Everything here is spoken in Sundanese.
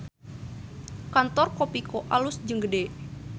Kantor Kopiko alus jeung gede